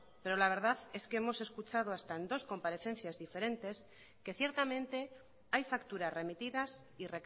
pero la verdad es que hemos escuchado hasta en dos comparecencias diferentes que ciertamente hay facturas remitidas y